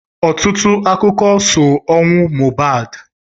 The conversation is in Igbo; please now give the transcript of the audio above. Ọtụtụ akụkọ so ọnwụ Mohbad.